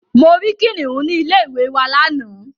Mo rí Kìnìnú ní ilé ìwé wa lánàá.